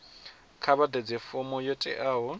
kha vhaḓadze fomo yo teaho